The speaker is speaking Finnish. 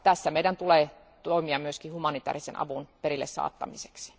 Meidän tulee toimia tässä myös humanitäärisen avun perille saattamiseksi.